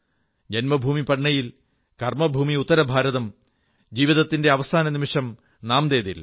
ജന്മഭൂമി പട്നയിൽ കർമ്മഭൂമി ഉത്തരഭാരതം ജീവിതത്തിന്റെ അവസാന നിമിഷം നാംദേഡിൽ